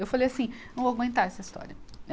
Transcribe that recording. Eu falei assim, não vou aguentar essa história.